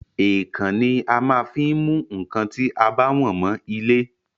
Èèkàn ni a maá ń fí mú nkán ti a bá wọ̀n mọ ilé